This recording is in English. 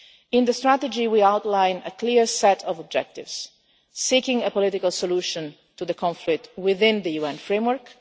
In the Strategy we outlined a clear set of objectives seeking a political solution to the conflict within the UN framework